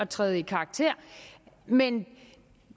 træde i karakter men